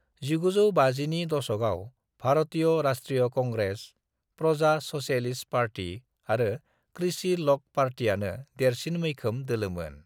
"1950 नि दशकआव भारतीय राष्ट्रीय कंग्रेस, प्रजा सशलिस्ट पार्टी आरो कृषि लोक पार्टीआनो देरसिन मैखोम दोलोमोन।"